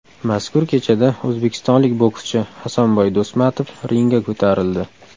Mazkur kechada o‘zbekistonlik bokschi Hasanboy Do‘smatov ringga ko‘tarildi.